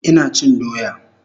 Ina chin doya